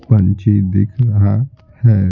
पंछी दिख रहा है ।